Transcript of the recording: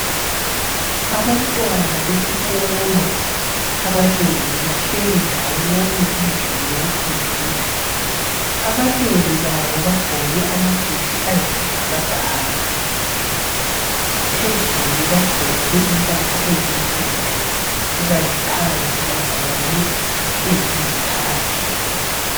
Abantwana besikolo abanengi bahleli ndawonye endlini yokufundela, abanengi babo bagqoke amajesi ayi sibhakabhaka, phezulu bagqoke impahla ezimhlophe kukanti phansi bagqoke eziyi khakhi.